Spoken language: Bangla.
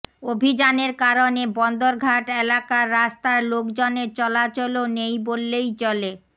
অভিযানের কারণে বন্দরঘাট এলাকার রাস্তায় লোকজনের চলাচলও নেই বললেই চলে